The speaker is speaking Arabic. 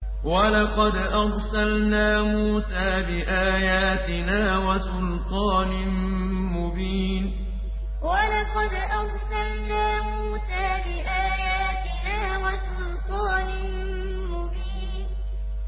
وَلَقَدْ أَرْسَلْنَا مُوسَىٰ بِآيَاتِنَا وَسُلْطَانٍ مُّبِينٍ وَلَقَدْ أَرْسَلْنَا مُوسَىٰ بِآيَاتِنَا وَسُلْطَانٍ مُّبِينٍ